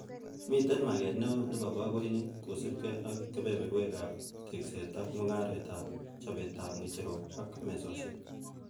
Miten maget neo nebo bogoinik kosiibge ak kebeberwek ab tekset ak mugaret ab chobetab ng'echerok ak mesosiek.